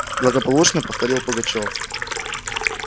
благополучно повторил пугачёв